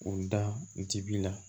U da jigi la